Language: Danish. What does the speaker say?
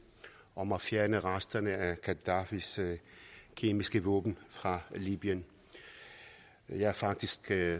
om at fjerne resterne af gaddafis kemiske våben fra libyen jeg er faktisk